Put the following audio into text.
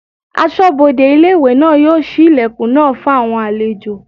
Asọ́bodè ilé-ìwé náà yóò ṣí ilẹ̀kùn náà fún àwọn àlejò